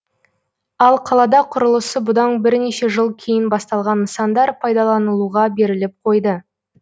ал қалада құрылысы бұдан бірнеше жыл кейін басталған нысандар пайдаланылуға беріліп қойды